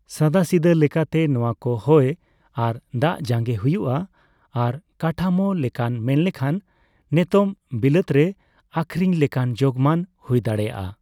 ᱥᱟᱫᱟᱥᱤᱫᱟᱹ ᱞᱮᱠᱟᱛᱮ ᱱᱚᱣᱟ ᱠᱚ ᱦᱚᱭ ᱟᱨ ᱫᱟᱜᱡᱟᱸᱜᱮ ᱦᱩᱭᱩᱜᱼᱟ, ᱟᱨ ᱠᱟᱴᱷᱟᱢᱳ ᱞᱮᱠᱟᱱ ᱢᱮᱱ ᱞᱮᱠᱷᱟᱱ, ᱱᱮᱛᱚᱜ ᱵᱤᱞᱟᱹᱛ ᱨᱮ ᱟᱹᱠᱷᱨᱤᱧ ᱞᱮᱠᱟᱱ ᱡᱳᱜᱢᱟᱱ ᱦᱩᱭ ᱫᱟᱲᱮᱭᱟᱜᱼᱟ ᱾